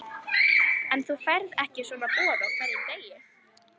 En þú færð ekki svona boð á hverjum degi.